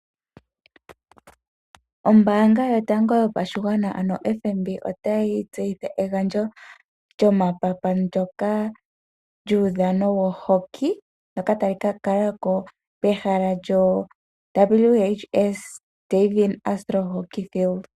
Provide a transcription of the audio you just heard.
Ombaanga yotango yopashigwana ano FNB otayi tseyitha egandjo lyomapapa ndoka lyuudhano wohoki ndoka tali ka kala ko kehala lyo WHS ,Davin Astro Hockey Field.